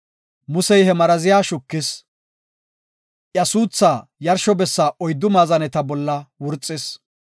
Musey he maraziya shukis; iya suuthaa yarsho bessa oyddu maazaneta bolla wurxis.